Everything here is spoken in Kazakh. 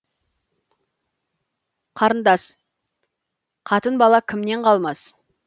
қарындас қатын бала кімнен қалмас